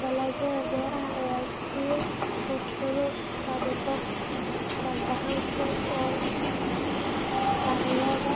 Dalagga beeraha ayaa siiya fursado tabobar oo gacan-ku-ool ah ardayda